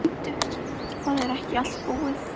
Og bíddu. það er ekki allt búið.